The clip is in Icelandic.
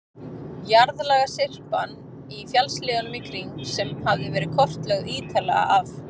Jarðlagasyrpan í fjallshlíðunum í kring, sem hafði verið kortlögð ítarlega af